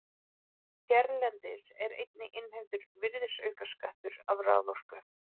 Hérlendis er einnig innheimtur virðisaukaskattur af raforku.